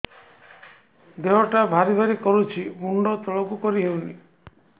ଦେହଟା ଭାରି ଭାରି କରୁଛି ମୁଣ୍ଡ ତଳକୁ କରି ହେଉନି